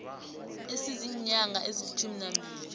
esiziinyanga ezilitjhumi nambili